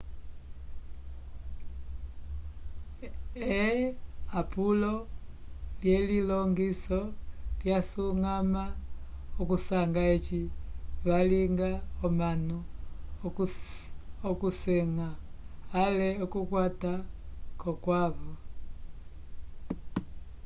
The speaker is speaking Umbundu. eapulo lyelilongiso lyasuñgama okusanga eci valinga omanu okusenga ale okukwata k'okwavo